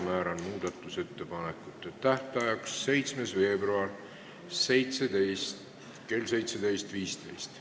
Määran muudatusettepanekute esitamise tähtajaks 7. veebruari kell 17.15.